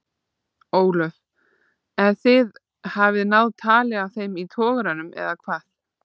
Ólöf: En þið hafið náð tali af þeim þá í togaranum eða hvað?